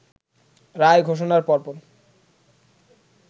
রায় ঘোষণার পরপর